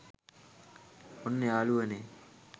ඔන්න යාළුවනේ